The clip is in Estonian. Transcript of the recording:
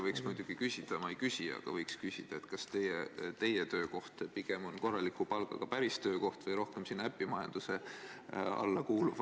Võiks muidugi küsida – ma ei küsi, aga võiks küsida –, kas teie töökoht pigem on korraliku palgaga päris töökoht või rohkem sinna äpimajanduse alla kuuluv.